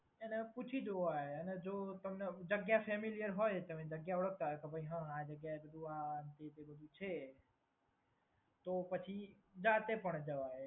એને પૂછી જોવાય અને જો તમને જગ્યા ફેમિલિયર હોય તમે જગ્યા ઓળખતા હોય તો હમ આ જગ્યા એ જવું હા એ બધુ છે તો પછી જાતે પણ જવાય.